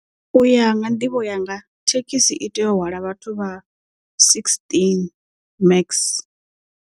U ya nga nḓivho yanga thekhisi i tea u hwala vhathu vha sixteen max.